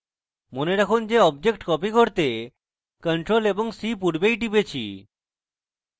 মনে রাখুন যে আমরা object copy করতে ctrl + c পূর্বেই টিপেছি